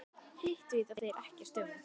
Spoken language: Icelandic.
Hitt vita þeir ekkert um.